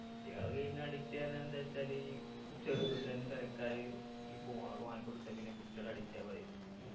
കുട്ടികള് game നു addict എന്ന് എന്തച്ചാല് ചെറുപ്പത്തിലെന്നെ പെരക്കാര് ഈ phone ഒക്കെ വാങ്ങിക്കൊടുത്ത പിന്നെ കുട്ടികള് addict ആവാതിരിക്കോ